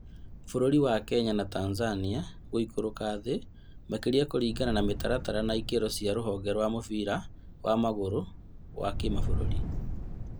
Bũrũri wa Kenya na Tanzania gũikũrũka thĩ makĩria kũringana na mĩtaratara na ikĩro cia rũhonge rwa mũbira wa magũrũ wa kĩmabũrũri